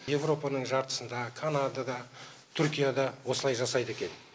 еуропаның жартысында канадада түркияда осылай жасайды екен